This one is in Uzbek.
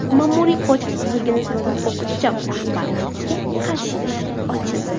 Ma’muriy kodeks buzilgani sababli bog‘cha rahbariyatiga qarshi ish ochildi.